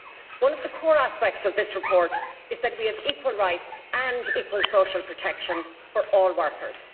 One of the core aspects of this report is that we have equal rights and equal social protection for all workers.